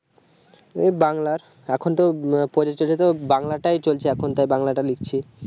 এই বাংলা এখন এই পরিস্থিতে বাংলাটাই চলছে তাই বাংলাটাই লিখছি